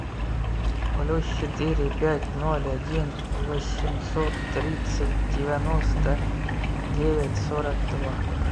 плюс четыре пять ноль один восемьсот тридцать девяносто девять сорок два